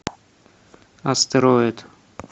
астероид